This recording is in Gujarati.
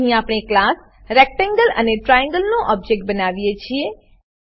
અહીં આપણે ક્લાસ રેક્ટેંગલ અને ટ્રાયેંગલ નું ઓબજેક્ટ બનાવીએ છીએ